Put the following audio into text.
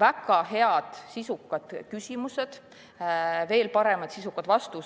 väga head, sisukad küsimused ja veel paremad, sisukad vastused.